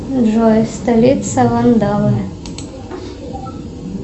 джой столица вандалы